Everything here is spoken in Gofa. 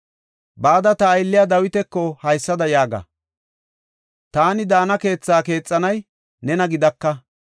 “Bada ta aylliya Dawitako haysada yaaga; ‘taani daana keethe keexanay nena gidaka.